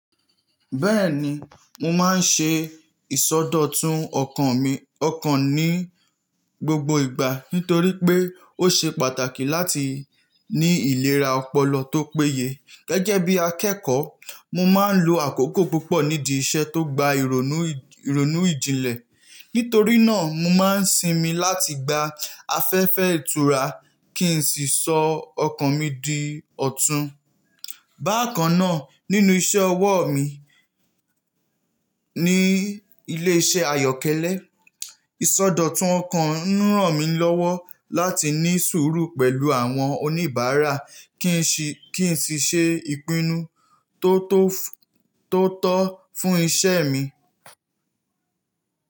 Bẹ́ẹ̀ni, mo máa ń ṣe ìsọdọ̀tun ọkàn mi ọkàn ní gbogbo ìgbà nítorí pé ó ṣe pàtàkì láti ní ìlera ọpọlọ tó péye. Gẹ́gẹ́ bí akẹ́kọ̀ọ́, mo máa ń lo àkókò púpọ̀ nídi iṣẹ́ tó gba ìrònú- ironu ìjìnlẹ̀. Nítorí náà, mo máa ń sinmi láti gba afẹ́fẹ́ ìtura kí n sì sọ ọkàn mi di ọ̀tún. Bákan náà, nínú iṣẹ́ ọwọ́ mi ní ilé iṣẹ́ ayọ́kẹ́lẹ́, ìsọdọ̀tun ọkàn rán mi lọ́wọ́ láti ní sùúrù pẹ̀lú àwọn oníbàárà, kin si-- kí n sì ṣe ìpinnu to to--tó tọ́ fún iṣẹ́ mi.